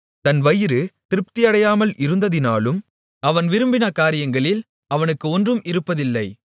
தன் வயிறு திருப்தி அடையாமல் இருந்ததினாலும் அவன் விரும்பின காரியங்களில் அவனுக்கு ஒன்றும் இருப்பதில்லை